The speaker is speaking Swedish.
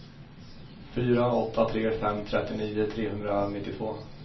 fyra åtta tre fem trettionio trehundranittiotvå